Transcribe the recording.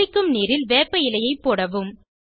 குளிக்கும் நீரில் வேப்பஇலையை போடவும்